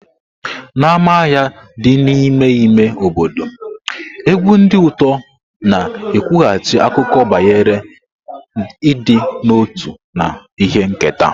N'ámá ahịa dị n'ime ime obodo, egwu ndi uto na-ekwughachi akụkọ banyere ịdị n'otu na ihe nketa.